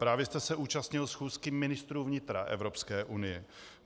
Právě jste se účastnil schůzky ministrů vnitra Evropské unie.